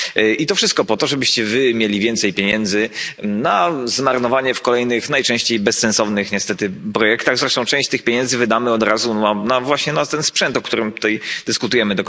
I to wszystko po to, żebyście Wy mieli więcej pieniędzy na zmarnowanie w kolejnych, najczęściej bezsensownych niestety, projektach. Zresztą część tych pieniędzy wydamy od razu właśnie na ten sprzęt do kontroli celnej, o którym tutaj dyskutujemy.